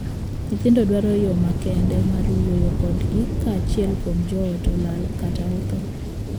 Nyithindo dwaro yoo makende mar wuoyo kodgi ka achiel kuom joot olal kata othoo.